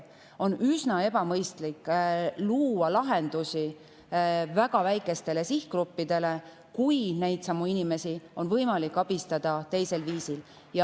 On üsna ebamõistlik luua lahendusi väga väikestele sihtgruppidele, kui neidsamu inimesi on võimalik abistada teisel viisil.